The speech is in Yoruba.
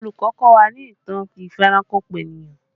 Olùkọ́ kọ́ wa ní ìtàn ìfẹranko-peniyan